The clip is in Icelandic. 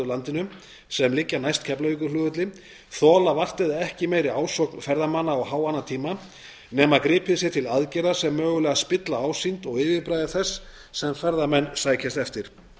landinu sem liggja næst keflavíkurflugvelli þola vart eða ekki meiri ásókn ferðamanna á háannatíma nema gripið sé til aðgerða sem mögulega spilla ásýnd og yfirbragði þess sem ferðamenn sækjast eftir